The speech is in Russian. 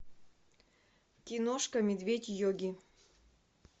киношка медведь йоги